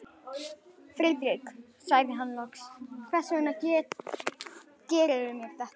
Friðrik sagði hann loks, hvers vegna gerðirðu mér þetta?